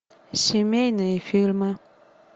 семейные фильмы